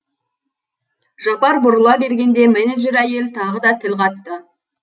жапар бұрыла бергенде менеджер әйел тағы да тіл қатты